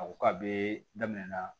A ko ka be daminɛ na